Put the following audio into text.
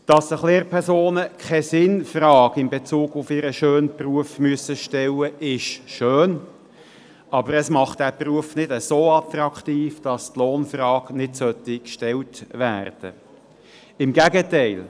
Dass sich Lehrpersonen keine Sinnfrage in Bezug auf ihren schönen Beruf stellen müssen, ist schön, aber es macht den Beruf nicht so attraktiv, dass die Lohnfrage gar nicht gestellt werden sollte – im Gegenteil: